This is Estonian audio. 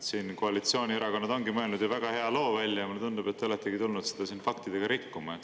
Siin koalitsioonierakonnad ongi mõeldud ju väga hea loo välja ja mulle tundub, et te olete tulnud seda faktidega rikkuma.